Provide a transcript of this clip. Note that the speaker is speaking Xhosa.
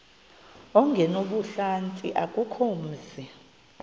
ongenabuhlanti akukho mzi